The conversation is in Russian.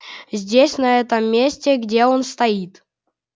здесь на этом месте где он стоит